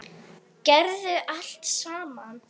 Gerðum allt saman.